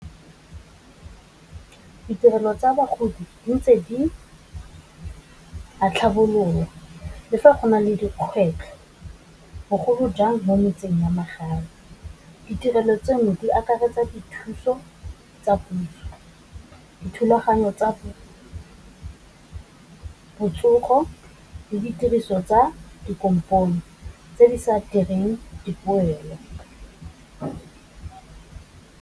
Ditirelo tsa bagodi di ntse di tlhabololwa, le fa go na le dikgwetlho bogolo jang mo metseng wa magae, ditirelo tseno di akaretsa dithuso tsa puso, dithulaganyo tsa puso, botsogo le ditiriso tsa dikompone tse di sa direng dipoelo.